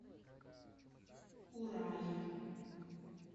урае